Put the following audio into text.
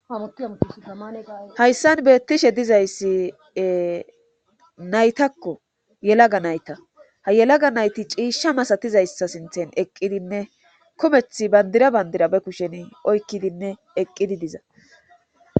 Hayssan beettishe dizayssi naytakko yelaga nayta ha yelaga nayti ciishsha masatizayssa sinthen eqqidinne kometh bandira bandira be kushen oykkidinne eqqidi diza.